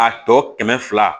A tɔ kɛmɛ fila